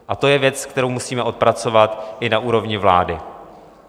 A to je věc, kterou musíme odpracovat i na úrovni vlády.